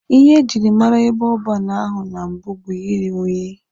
Ihe ejiri mara ebe ọban ahụ na mbụ bụ iri unyi.